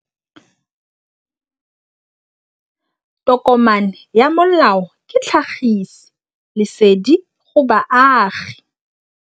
Tokomane ya molao ke tlhagisi lesedi go baagi.